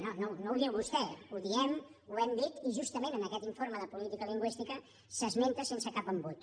no no ho diu vostè ho diem ho hem dit i justament en aquest informe de política lingüística s’esmenta sense cap embut